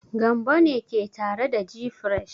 Gambo ne ke tare da gfresh.